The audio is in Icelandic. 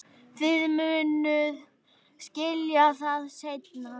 Þið munuð skilja það seinna.